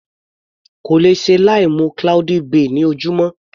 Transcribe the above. Kò lè ṣe láì mu cloudy bay ní ojúmọ́.